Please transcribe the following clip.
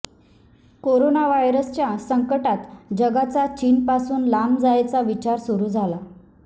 corona व्हायरसच्या संकटात जगाचा चीनपासून लांब जायचा विचार सुरू झाला आहे